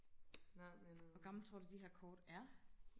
hvor gamle tror du de her kort er